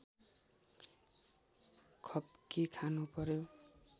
खप्की खानुपर्‍यो